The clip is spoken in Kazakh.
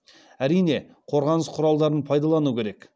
әрине қорғаныс құралдарын пайдалану керек